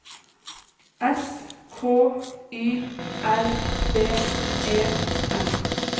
S K Y L D E N